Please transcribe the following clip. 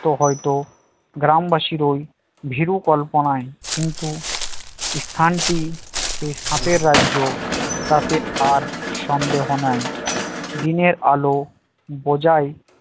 তো হয়তো গ্রামবাসীর ওই ভীরুকল্পনায় কিন্তু স্থানটি সাপের রাজ্য তাতে আর সন্দেহ নাই দিনের আলো বোঝাই